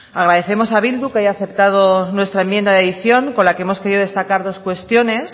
agradecemos a bildu que haya aceptado nuestra enmienda de edición con la que hemos querido destacar dos cuestiones